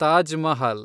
Taj Mahal